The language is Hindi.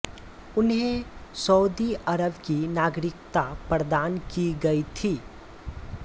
उन्हें सउदी अरब की नागरिकता प्रदान की गई थी